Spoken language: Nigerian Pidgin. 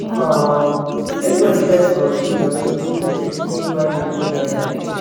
um evribodi first confuse until news explain why we nor get light